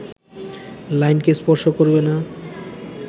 লাইনকে স্পর্শ করবে না